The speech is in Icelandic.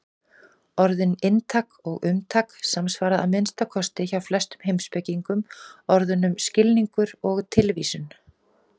Orðin inntak og umtak samsvara, að minnsta kosti hjá flestum heimspekingum, orðunum skilningur og tilvísun.